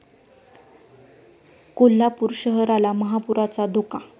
कोल्हापूर शहराला महापुराचा धोका